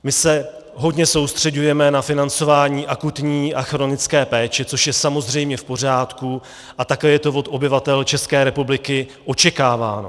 My se hodně soustřeďujeme na financování akutní a chronické péče, což je samozřejmě v pořádku a také je to od obyvatel České republiky očekáváno.